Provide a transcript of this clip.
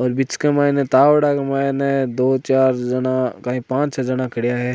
और बीच के माइन तावडा के माइन दो चार कई पांच छ जाना खड़ा है।